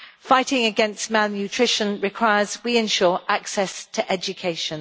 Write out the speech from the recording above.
Fighting against malnutrition requires we ensure access to education.